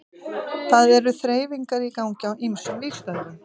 Það eru þreifingar í gangi á ýmsum vígstöðvum.